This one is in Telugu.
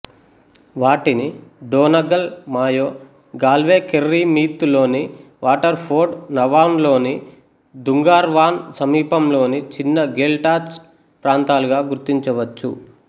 వాటిని Donegal Mayo Galway Kerry Meath లోని వాటర్ఫోర్డ్ నవాన్లోని దుంగార్వాన్ సమీపంలోని చిన్న గేల్టాచ్ట్ ప్రాంతాలుగా గుర్తించవచ్చు